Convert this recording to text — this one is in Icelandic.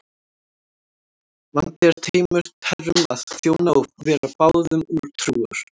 Vandi er tveimur herrum að þjóna og vera báðum trúr.